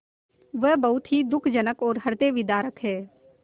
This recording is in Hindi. वह बहुत ही दुःखजनक और हृदयविदारक है